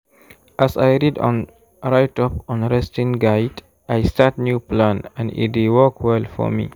as i read on write up on resting guide i start new plan and e dey work well for me.